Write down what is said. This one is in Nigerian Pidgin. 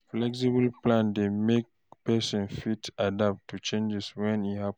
Flexible plan dey make person fit adapt to changes wey happen